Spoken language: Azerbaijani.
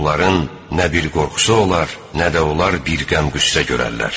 Onların nə bir qorxusu olar, nə də onlar bir qəm-qüssə görərlər.